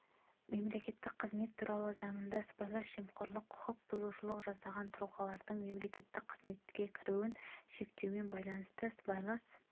мемлекеттік қызмет туралы заңында сыбайлас жемқорлық құқық бұзушылық жасаған тұлғалардың мемлекеттік қызметке кіруін шектеумен байланысты сыбайлас